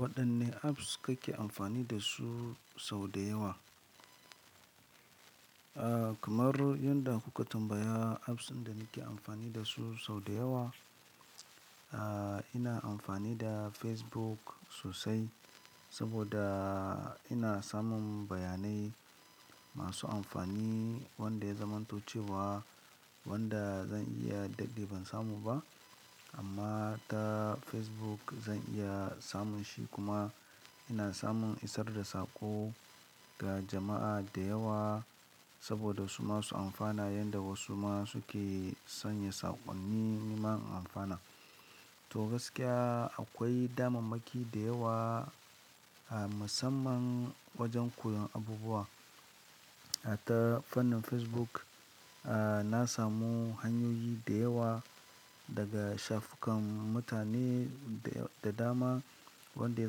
Waɗanne apps kake amfani dasu sau da yawa? Aaa, kamar yanda kuka tambaya apps din da nake amfani dasu sau da yawa, aa ina amfani da Facebook sosai saboda ina samun bayanai masu amfani wanda ya zamantocewa wanda zan iya dade ban samu ba amma ta Facebook zan iya samun shi kuma ina samun isar da saƙo ga jama'a da yawa saboda su masu amfana yanda wasu ma suke sanya saƙon ni niman amfana. To gaskiya akwai damammaki da yawa a musamman wajen koyon abubuwa. A ta fannin Facebook, aa na samu hanyoyi da yawa daga shafukan mutane da dama wanda ya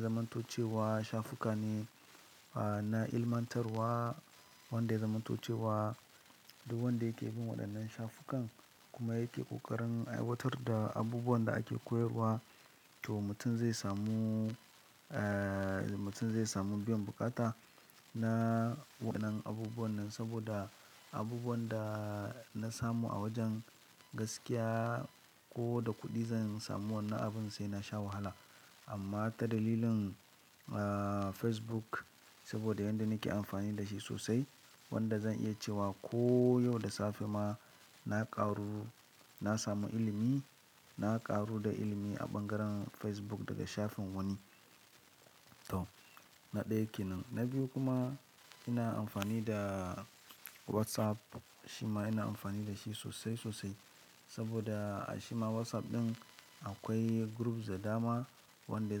zamantocewa shafukan ne a na ilmantarwa wanda ya zamantocewa duk wanda yake bin waɗannan shafukan kuma yake ƙoƙarin aiwatar da abubuwan da ake koyarwa to mutum zai samu eee mutum zai samu biyan bukata na wannan abubuwan nan saboda abubuwan da na samu a wajen gaskiya ko da kuɗi zan samu wannan abin sai na sha wahala. Amma ta dalilin aa Facebook saboda yanda nake amfani da shi sosai wanda zan iya cewa ko yau da safe ma na ƙaru na samu ilimi, na ƙaru da ilimi a bangaren Facebook daga shafin wani. To na ɗaya ke nan. Na biyu kuma ina amfani da WhatsApp. Shi ma ina amfani da shi sosai sosai saboda a shi ma WhatsApp ɗin akwai groups da dama wanda ya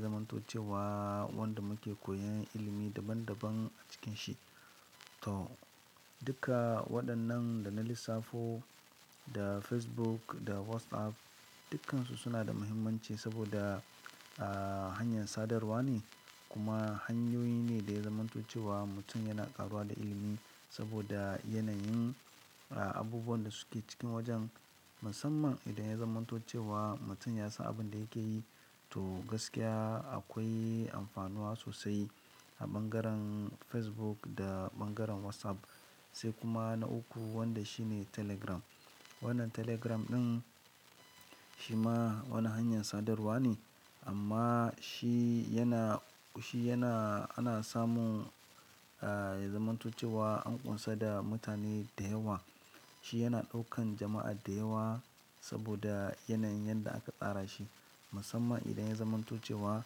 zamantocewa wanda muke koyan ilimi daban daban a cikin shi. To duka waɗannan da na lissafo da Facebook da WhatsApp dukkansu suna da muhimmanci saboda aa hanyar sadarwa ne kuma hanyoyi ne da ya zamantocewa mutum yana karuwa da ilimi saboda yanayin aa abubuwan da suke cikin wajen. Musamman idan ya zamantocewa mutum ya san abin da yake yi to gaskiya akwai amfanuwa sosai a bangaren Facebook da bangaren WhatsApp. Sai kuma na uku wanda shi ne Telegram. Wannan Telegram ɗin shi ma wani hanyar sadarwa ne amma shi yana, shi yana ana samun aa ya zamantocewa an ƙunsa da mutane da yawa. Shi yana ɗaukan jama'a da yawa saboda yanayin yadda aka tsara shi. Musamman idan ya zamantocewa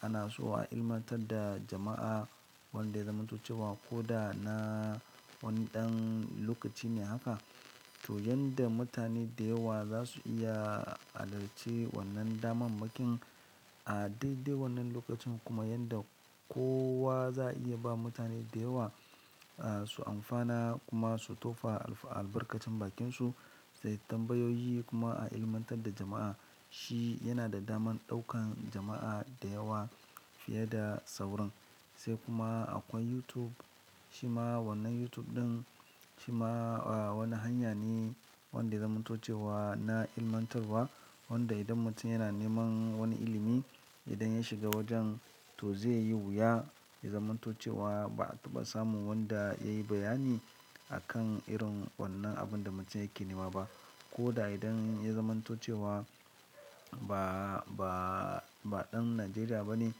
ana so a ilmantar da jama'a wanda ya zamantocewa ko da na wani ɗan lokaci ne haka to yanda mutane da yawa za su iya halarci wannan damammakin a daidai wannan lokacin kuma yanda kowa za a iya ba mutane da yawa aa su amfana kuma su tofa albarkacin bakinsu da tambayoyi kuma a ilmantar da jama'a. Shi yana da damar ɗaukan jama'a da yawa fiye da sauran. Sai kuma akwai YouTube. Shi ma wannan YouTube ɗin shi ma wani hanya ne wanda ya zamantocewa na ilmantarwa wanda idan mutum yana neman wani ilimi idan ya shiga wajen to zai yi wuya ya zamantocewa ba, a taba samu wanda ya yi bayani akan irin wannan abun da mutum yake neman ba. Ko da idan ya zamantocewa ba, ba, ba ɗan Najeriya ba ne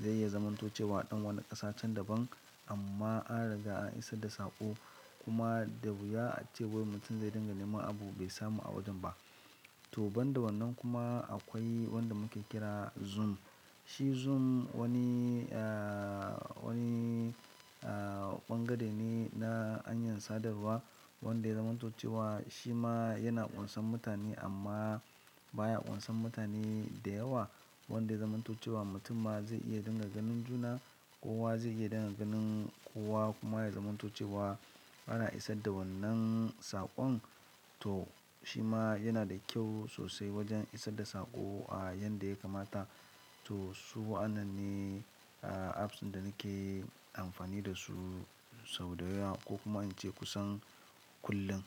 zai iya zamantocewa ɗan wani ƙasa can daban amma an riga an isar da saƙo kuma da wuya ace wai mutum zai dinga neman abu bai samu a wajen ba. To banda wannan kuma akwai wanda muke kira Zoom. Shi Zoom wani aa wani aa ɓangare ne na hanyar sadarwa wanda ya zamantocewa shi ma yana ƙunsan mutane amma baya ƙunsan mutane da yawa. Wanda ya zamantocewa mutum ma zai iya dinga ganin juna. Kowa zai iya dinga ganin kowa kuma ya zamantocewa ana isar da wannan saƙon to shi ma yana da kyau sosai wajen isar da saƙo a yadda ya kamata. To su wa, an nan ne aa apps ɗin da nake amfani dasu sau da yawa ko kuma in ce kusan kullum.